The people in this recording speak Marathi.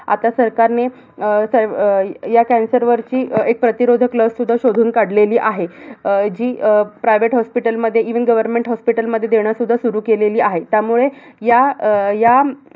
आता सरकार ने अह अह ह्या cancer वरची अह एक प्रतिरोधक लस सुद्धा शोधून काढलेली आहे. अह जी अह private hospital मध्ये even, government hospital मध्ये देणं सुरु केलेली आहे. त्यामुळे ह्या अह ह्या